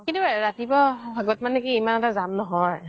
কিন্তু ৰাতিপুৱা সময়ত ইমান এটা জাম নহয়